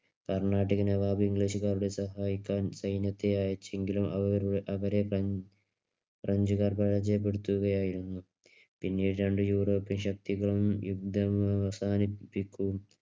കർണാട്ടിക് നവാബ് ഇംഗ്ലീഷുകാരെ സഹായിക്കാൻ സൈനികരെ അയച്ചെങ്കിലും. അവരെ ഫ്രഞ്ചുകാർ പരാജയപ്പെടുത്തുകയായിരുന്നു. പിന്നീട് രണ്ട് യൂറോപ്പ്യൻ ശക്തികളും യുദ്ധം അവസാനിപ്പികും